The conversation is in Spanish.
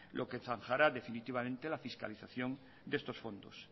lo que zanjará definitivamente la fiscalización de estos fondos